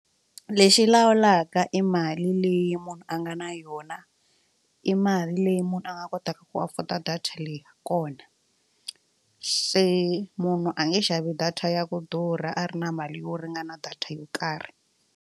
Lexi lawulaka i mali leyi munhu a nga na yona i mali leyi munhu a nga kotaka ku afford'a data leyi kona se munhu a nge xavi data ya ku durha a ri na mali yo ringana data yo karhi.